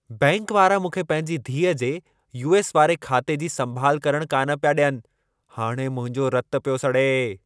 Bank वारा मूंखे पंहिंजी धीअ जे यूएस वारे बैंक खाते जी संभालु करणु कान पिया डि॒यनि। हाणे मुंहिंजो रतु पियो सड़े।